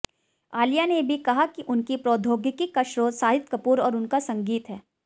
आलिया ने भी कहा कि उनकी प्रोद्यौगिकी का स्रोत शाहिद कपूर और उनका संगीत है